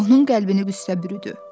Onun qəlbini qüssə bürüdü.